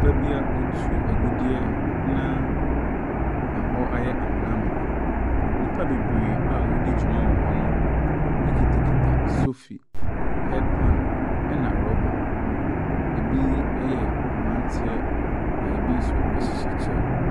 Beebi a wɔtu adudeɛ na hɔ ayɛ amona amona. Nnipa bebree a wɔredi dwuma wɔ hɔ no kura sofi, head pan na rɔba. Bi yɛ mmeranteɛ, na bi nso hyehyɛ kyɛ.